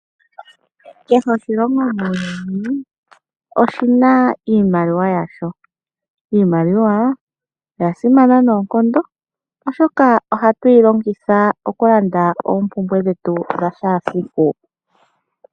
Kehe oshilongo muuyuni oshina iimaliwa yasho. Iimaliwa oya simana noonkondo oshoka ohayu yi longitha okulanda oompumbwe dhetu dhakehesiku.